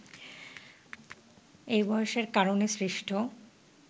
এবং বয়সের কারণে সৃষ্ট